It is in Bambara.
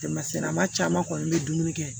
Tɛmɛsen maa caman kɔni bɛ dumuni kɛ